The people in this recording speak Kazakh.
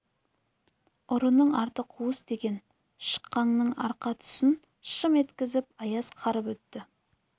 ұрының арты қуыс деген шықаңның арқа тұсын шым еткізіп аяз қарып өтті